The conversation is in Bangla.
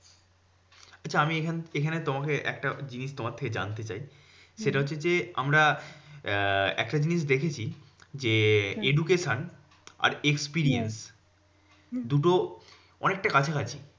আচ্ছা আমি এখান এখানে তোমাকে একটা জিনিস তোমার থেকে জানতে চাই, সেটা হচ্ছে যে, আমরা আহ একটা জিনিস দেখেছি যে, education আর experience দুটো অনেকটা কাছাকাছি।